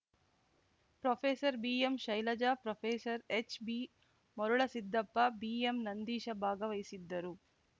professor B M Shailaja professor H B Marulasiddappa B M Nandeesh ಭಾಗವಹಿಸಿದ್ದರು